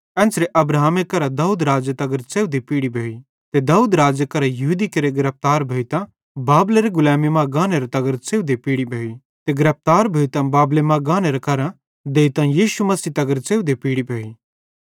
एन्च़रे अब्राहमे करां दाऊद राज़े तगर च़ेवधे पीढ़ी भोई ते दाऊद राज़े करां यहूदी केरे गिरफ्तार भोइतां बाबेलेरी गुलैमी मां गाने तगर च़ेवधे पीढ़ी भोई ते गिरफ्तार भोइतां बाबेले मां गाने करां देइतां यीशु मसीह तगर च़ेवधे पीढ़ी भोई